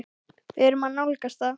Við erum að nálgast það.